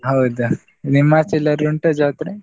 ಹೌದ್, ನಿಮ್ಮಾಚೆ ಎಲ್ಲಾದ್ರು ಉಂಟ ಜಾತ್ರೆ?